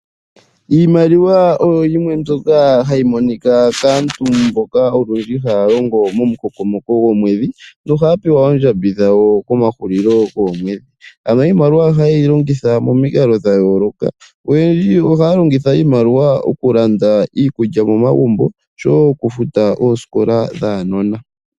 Iimaliwa oyo yimwe mbyoka hayi monika kaantu mboka olundji haya longo momukokomoko gomwedhi, nohaya pewa oondjambi dhawo komahulilo goomweedhi. Ano iimaliwa ohaye yi longitha momikalo dhayooloka, oyendji ohaya longitha iimaliwa okulanda iikulya momagumbo osho wo okufuta oosikola dhaanona.